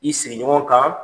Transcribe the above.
I sigiɲɔgɔn kan,